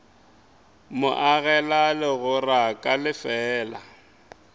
mo agela legora ka lefeela